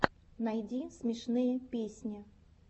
найти смешные песни